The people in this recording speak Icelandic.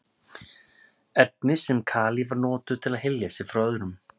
efni sem kalífar notuðu til að hylja sig frá öðrum